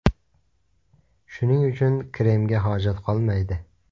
Shuning uchun kremga hojat qolmaydi.